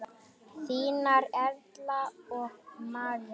Þínar Erla og María.